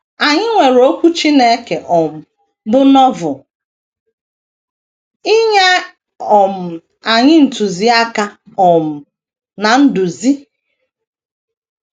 Anyị nwere Okwu Chineke, um bụ́ Novel, inye um anyị ntụziaka um na nduzi.